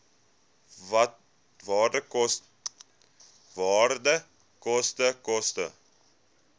waarde koste koste